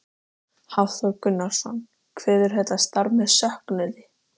Hafþór Gunnarsson: Kveðurðu þetta starf með söknuði?